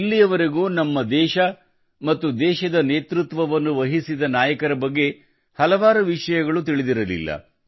ಇಲ್ಲಿವರೆಗೂ ನಮ್ಮ ದೇಶ ಮತ್ತು ದೇಶದ ನೇತೃತ್ವವನ್ನು ವಹಿಸಿದ ನಾಯಕರ ಬಗ್ಗೆ ಹಲವಾರು ವಿಷಯಗಳು ತಿಳಿದಿರಲಿಲ್ಲ